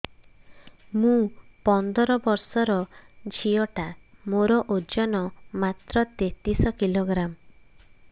ମୁ ପନ୍ଦର ବର୍ଷ ର ଝିଅ ଟା ମୋର ଓଜନ ମାତ୍ର ତେତିଶ କିଲୋଗ୍ରାମ